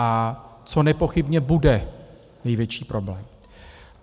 A co nepochybně bude největší problém.